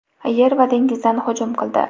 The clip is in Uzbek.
yer va dengizdan hujum qildi.